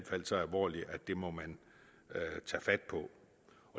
fald så alvorligt at det må man tage fat på